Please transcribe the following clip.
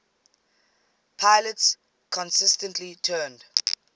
pilots consistently turned